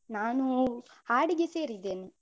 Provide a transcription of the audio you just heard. ನಾನು ಹಾಡಿಗೆ ಸೇರಿದ್ದೇನೆ.